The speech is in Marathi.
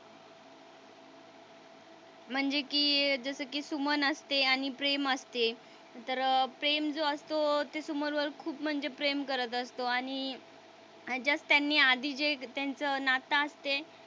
म्हणजे कि जस कि सुमन असते आणि प्रेम असते तर प्रेम जो असतो तो सुमन वर खूप म्हणजे प्रेम करत असतो आणि त्यांनी आधी जे त्यांचं नातं असते.